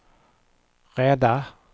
rädda